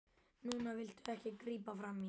Núna viltu ekki grípa frammí.